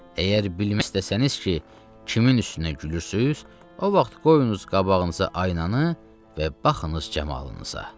Əgər bilmək istəsəniz ki, kimin üstünə gülürsüz, o vaxt qoyunuz qabağınıza aynanı və baxınız camalınıza.